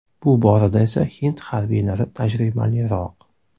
Bu borada esa hind harbiylari tajribaliroq.